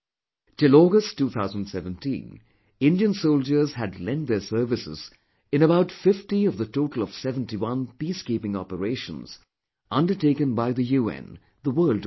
Till August 2017, Indian soldiers had lent their services in about 50 of the total of 71 Peacekeeping operations undertaken by the UN the world over